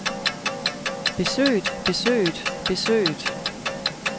besøget besøget besøget